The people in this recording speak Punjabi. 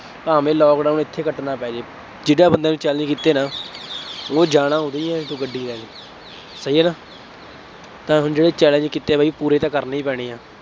ਭਾਵੇਂ ਲਾਕਡਾਊਨ ਇੱਥੇ ਕੱਟਣਾ ਪੈ ਜਾਏ। ਜਿਹੜਿਆਂ ਬੰਦਿਆਂ ਨੂੰ challenge ਕੀਤੇ ਨਾ, ਉਹ ਜਾਣਾ ਉਰੋ ਹੀ ਆ ਇੱਥੋਂ ਗੱਡੀ ਲੈ ਕੇ, ਸਹੀ ਹੈ ਨਾ, ਤਾਂ ਸਮਝੋ ਜਿਹੜੇ challenge ਕੀਤੇ ਆ ਬਾਈ ਪੂਰੇ ਤਾਂ ਕਰਨੇ ਹੀ ਪੈਣੇ ਆ,